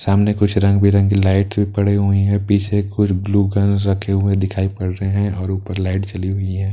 सामने कुछ रंग बिरंगी लाइटस भी पड़ी हुई है पीछे कुछ ब्लू कलर रखे हुए दिखाई पड़ रहे हैं और ऊपर लाइट जली हुई है।